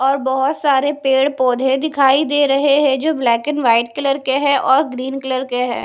और बहोत सारे पेड़ पौधे दिखाई दे रहे हैं जो ब्लैक एंड व्हाइट कलर के हैं और ग्रीन कलर के हैं।